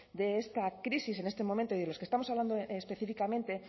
de esta crisis en este momento y de los que estamos hablando específicamente